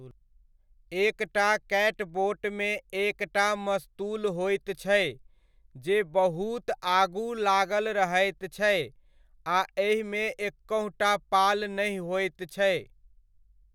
एकटा कैटबोटमे एकटा मस्तूल होइत छै, जे बहुत आगू लागल रहैत छै आ एहिमे एकहुँटा पाल नहि होइत छै।